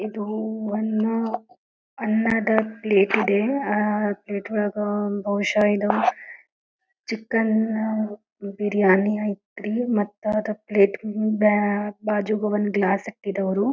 ಇದು ಅನ್ನ ಅನ್ನದ ಪ್ಲೇಟ್ ಇದೆ ಪ್ಲೇಟ್ ಒಳಗ ಬಹುಶ ಇದು ಚಿತ್ರಾನ್ನ ಬಿರಿಯಾನಿ ಐತ್ರಿ ಮತ್ತ ಪ್ಲೇಟ್ ಗ ಬಾಜುಗ ಒಂದ್ ಗ್ಲಾಸ್ ಆಗ್ತಿದೆ ಅವ್ರು--